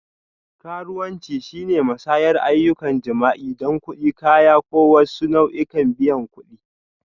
Karuwanci shine musayar ayyukan jima'i don kuɗi, kaya, ko wasu nau'ikan biyan kuɗi.